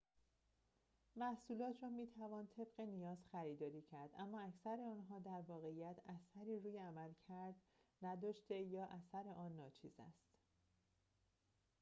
محصولات را می‌توان طبق نیاز خریداری کرد اما اکثر آنها در واقعیت اثری روی عملکرد نداشته یا اثر آن ناچیز است